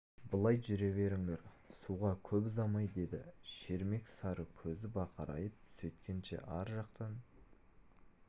былай жүре беріңдер суға көп ұзамай деді шермек сары көзі бақырайып сөйткенше арт жақтан